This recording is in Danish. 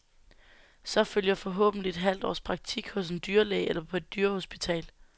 Så følger forhåbentlig et halvt års praktik hos en dyrlæge eller på et dyrehospital.